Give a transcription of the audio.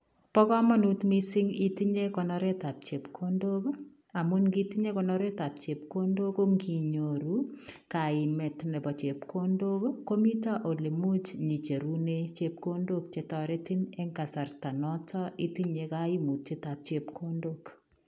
Bo kamanut missing itinyei konoret ab chepkondook ii amuun kiit itinyei konoret ab chepkondook ko kinyoruu kaimet ab chepkondook ii komitaa ole imuuch icheruneen chepkondook che taretiin en kasarta notoon itinyei kaimutiet ab chepkondook.